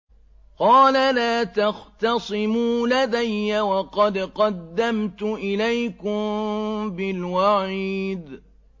قَالَ لَا تَخْتَصِمُوا لَدَيَّ وَقَدْ قَدَّمْتُ إِلَيْكُم بِالْوَعِيدِ